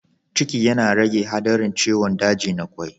Ciki yana rage haɗarin ciwon daji na kwai